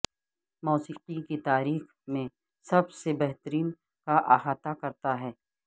موسیقی کی تاریخ میں سب سے بہترین کا احاطہ کرتا ہے